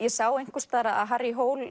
sá einhvers staðar að Harry